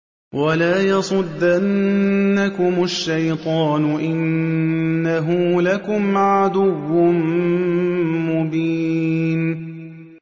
وَلَا يَصُدَّنَّكُمُ الشَّيْطَانُ ۖ إِنَّهُ لَكُمْ عَدُوٌّ مُّبِينٌ